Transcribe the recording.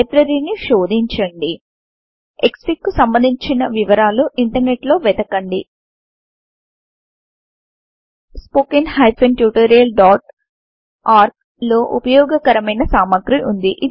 library ని శోధించండి క్స్ఫిగ్ కు సంబంధించిన వివరాలు ఇంటర్నెట్ లో వెతకండి spoken tutorialఆర్గ్ లో ఉపయోగకరమైన సామాగ్రి వుంది